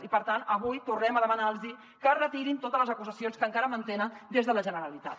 i per tant avui tornem a demanar los que retirin totes les acusacions que encara mantenen des de la generalitat